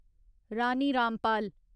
Rani Rampal